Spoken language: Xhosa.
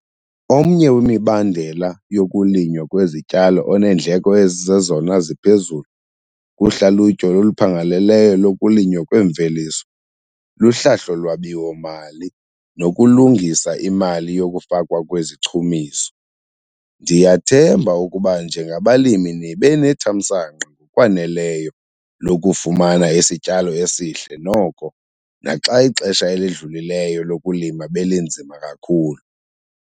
Omnye wemibandela yokulinywa kwezityalo oneendleko ezizezona ziphezulu kuhlalutyo oluphangaleleyo lokulinywa kweemveliso luhlahlo lwabiwo-mali nokulungisa imali yokufakwa kwezichumiso. Ndiyathemba ukuba njengabalimi nibe nethamsanqa ngokwaneleyo lokufumana isityalo esihle noko naxa ixesha elidlulileyo lokulima belinzima kakhulu.